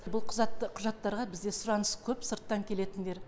бұл құжаттарға бізде сұраныс көп сырттан келетіндер